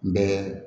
Bɛɛ